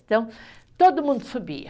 Então, todo mundo subia.